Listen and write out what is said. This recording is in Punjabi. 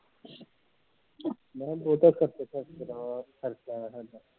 ਮੈਂ ਕਿਹਾ ਬਹੁਤਾ ਸਰਸੇ ਸਰਸੇ ਵਾਲਾ ਖਰਚਾ ਹੈਗਾ ਸਾਡਾ